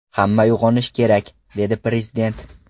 Hamma uyg‘onishi kerak”, dedi Prezident.